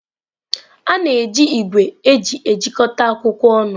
A na-eji igwe eji ejikọta akwụkwọ ọnụ.